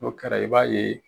N'o kɛra i b'a ye